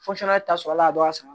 ta sɔrɔla a dɔ a san